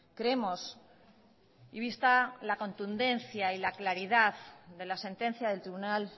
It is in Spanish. creemos y vista la contundencia y la claridad de la sentencia del tribunal